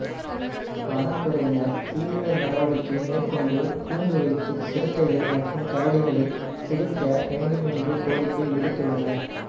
வனத்துறையினர் தீவிர நடவடிக்கை மேற்கொண்டு கூண்டு வைத்து சிறுத்தைகள் மற்றும் கரடிகளை பிடிக்க வேண்டும் என்று கோரிக்கை விடுத்துள்ளனர்